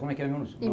Como é que